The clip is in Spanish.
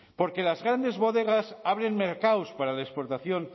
porque las grandes bodegas abren mercados para la exportación